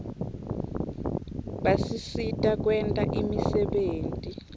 basisita kwenta imisebenti